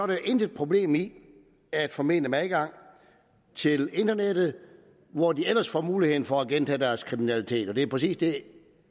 der intet problem i at formene dem adgang til internettet hvor de ellers får muligheden for at gentage deres kriminalitet og det er præcis det